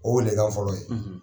O de ka fɔlɔ ye .